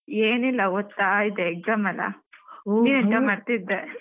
ಏನಿಲ್ಲ ಓದ್ತಾ ಇದ್ದೆ exam ಅಲ್ಲ ನೀನೆಂತ ಮಾಡ್ತಿದ್ದೆ?